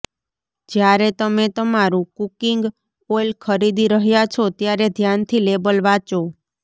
જ્યારે તમે તમારું કુકિંગ ઓઇલ ખરીદી રહ્યા છો ત્યારે ધ્યાનથી લેબલ વાંચો